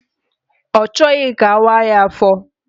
Ọ chọghị ka awaaa ya afọ